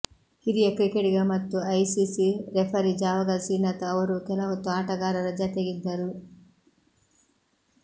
ಹಿರಿಯ ಕ್ರಿಕೆಟಿಗ ಮತ್ತು ಐಸಿಸಿ ರೆಫರಿ ಜಾವಗಲ್ ಶ್ರೀನಾಥ್ ಅವರೂ ಕೆಲಹೊತ್ತು ಆಟಗಾರರ ಜತೆಗಿದ್ದರು